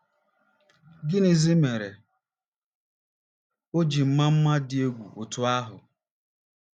Gịnịzi mere o ji maa mma dị egwu otú ahụ?